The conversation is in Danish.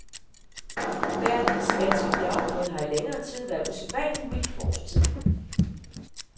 Vejret i det spanske bjergområde har i længere tid været usædvanligt mildt for årstiden.